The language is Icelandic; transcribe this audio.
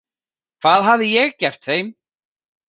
Hvað hafði ég gert þeim?